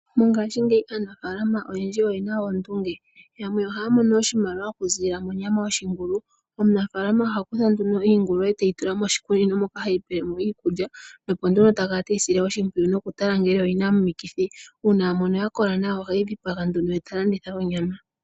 Mongaashingeyi aanafaalama oyendji oyena oondunge. Yamwe ohaa mono oshimaliwa okuziilila monyama yoshingulu. Omunafaalama oha kutha nduno iingulu ete yi tula moshigunda moka heyi pele mo iikulya nopo nduno ta kala teyi sile oshimpwiyu nokutala ngele oyina omikithi, uuna a mono ya kola nawa oheyi dhipaga nduno eta landitha onyama.